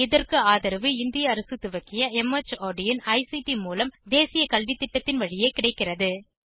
இதற்கு ஆதரவு இந்திய அரசு துவக்கிய மார்ட் இன் ஐசிடி மூலம் தேசிய கல்வித்திட்டத்தின் வழியே கிடைக்கிறது